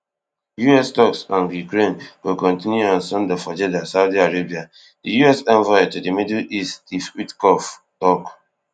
US toks on ukraine go continue on sunday for jeddah saudi arabia di US envoy to di middle east steve witkoff tok